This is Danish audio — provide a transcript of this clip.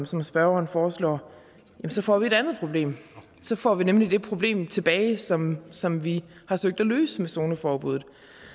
som spørgeren foreslår så får vi et andet problem så får vi nemlig det problem tilbage som som vi har søgt at løse med zoneforbuddet